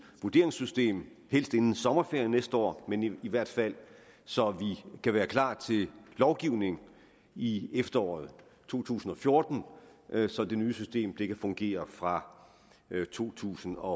vurderingssystem helst inden sommerferien næste år men i hvert fald så vi kan være klar til lovgivningen i efteråret to tusind og fjorten så det nye system kan fungere fra to tusind og